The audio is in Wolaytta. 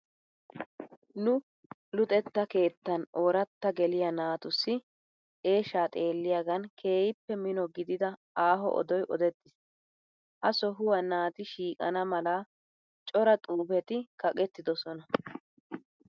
Nu luxettaa keettan ooratta geliya naatussi eeshshaa xeelliyagaan keehippe mino gidida aaho odoyi odettiis. Ha sohuwa naati shiiqana mala cora xuufeti kaqettidosona.